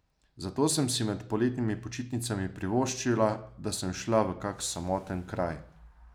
Zato sem si med poletnimi počitnicami privoščila, da sem šla v kak samoten kraj.